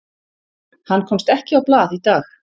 Hann komst ekki á blað í dag.